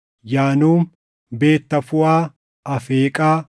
Yaanuum, Beet Tafuuʼaa, Afeeqaa,